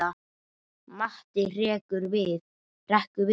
Matti hrekkur við.